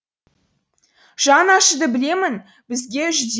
жаны ашыды білемін бізге жүдеу